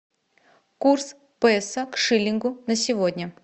курс песо к шиллингу на сегодня